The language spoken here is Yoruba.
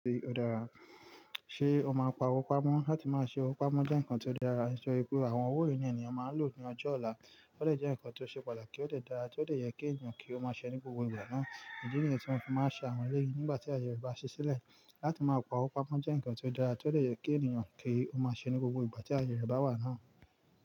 Ṣé o máa ń pawó pamọ́? Láti máa ṣe owó pamọ́ jẹ́ nǹkan tó dára, nítorí pé àwọn owó ìní ẹni ni a máa lò ní ọjọ́ ọ̀la. Ó lè jẹ́ nǹkan tó ṣe pàtàkì, ó lè dára, ó lè yẹ kí ènìyàn kí ó máa ṣe ní gbogbo ìgbà náà. Idi niyi tí mo fi máa ń ṣe àwọn eleyi nígbà tí ayẹ re bá ṣe sílẹ̀. Láti máa pawó pamọ́ jẹ́ nǹkan tó dára, tó lè yẹ kí ènìyàn kí ó máa ṣe ní gbogbo ìgbà tí ayẹyẹ bá wà náà.